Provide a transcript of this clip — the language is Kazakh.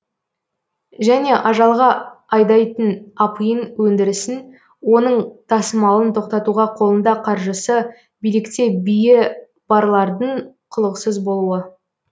және ажалға айдайтын апиын өндірісін оның тасымалын тоқтатуға қолында қаржысы билікте биі барлардың құлықсыз болуы